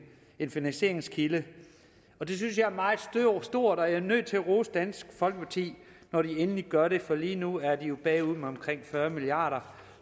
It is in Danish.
en finansieringskilde og det synes jeg er meget stort og jeg er nødt til at rose dansk folkeparti når de endelig gør det for lige nu er de jo bagud med omkring fyrre milliard